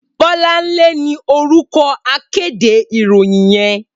Bolanle ni órúkò àkédé iróyin yèn